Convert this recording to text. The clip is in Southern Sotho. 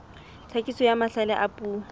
tlhakiso ya mahlale a puo